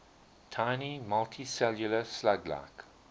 tiny multicellular slug like